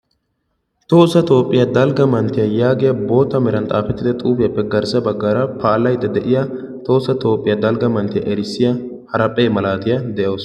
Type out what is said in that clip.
tohossa toophiyaa dalgga mattiya yaagiya boottan xaafetidda xuufiyaappe garssa baggaara palayyida de'iyaa tohossa toophiyaa dalgga erissiyaa haraphe malaatiya de'awus.